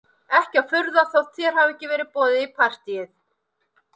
Ekki að furða þótt þér hafi ekki verið boðið í partíið